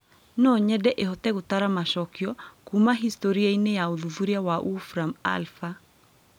no nyende ĩhote gũtara macokio kuuma historĩ-inĩ ya ũthuthuria ta Wolfram Alpha